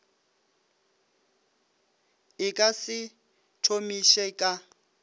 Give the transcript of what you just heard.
e ka se thomiše ka